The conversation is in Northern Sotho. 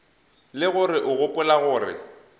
le gore o gopola gore